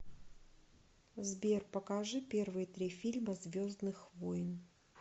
сбер покажи первые три фильма звездных войн